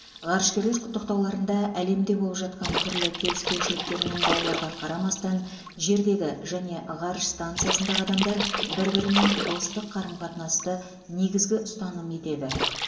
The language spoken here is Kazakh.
ғарышкерлер құттықтауларында әлемде болып жатқан түрлі келіспеушіліктер мен дауларға қарамастан жердегі және ғарыш станциясындағы адамдар бір бірімен достық қарым қатынасты негізгі ұстаным етеді